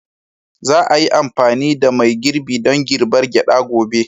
Za a yi amfani da mai girbi don girbar gyada gobe.